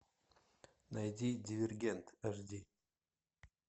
найди дивергент аш ди